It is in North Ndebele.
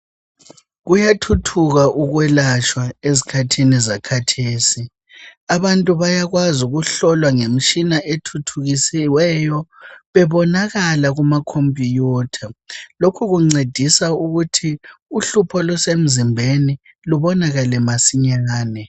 Kuyathuthuka ukwelatshwa ezikhathini zakhathesi , abantu bayakwazi ukuhlolwa ngemitshina ethuthukisiweyo bebonakala kumakhompiyutha lokhu kuncedisa ukuthi uhlupho olusemzimbeni lubonakale masinyane.